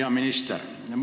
Hea minister!